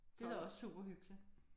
Det er da også super hyggeligt